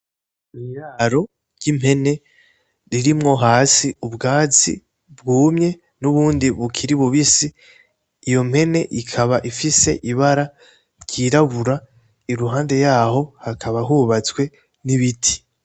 Iraro ry'impene ririmwo hasi ubwatsi bwumye n' ubundi bukiri bubisi ,iyo mpene ikaba ifise ibara ryirabura iruhande yaho hakaba hubatswe n'ibiti.